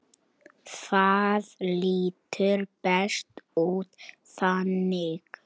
Það lítur betur út þannig.